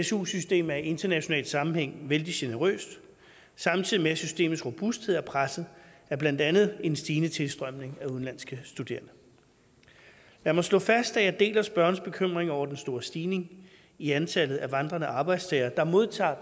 su system er i international sammenhæng vældig generøst samtidig med at systemets robusthed er presset af blandt andet en stigende tilstrømning af udenlandske studerende lad mig slå fast at jeg deler spørgerens bekymring over den store stigning i antallet af vandrende arbejdstagere der modtager